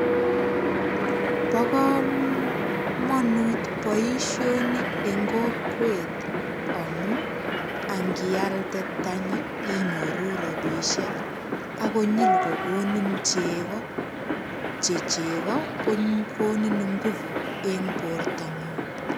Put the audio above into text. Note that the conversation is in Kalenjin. Bo komonut boishoni eng kokwet amu angialde tanyi inyoru robishek akonyil kokonin cheko che cheko kokonin nguvut eng bortongung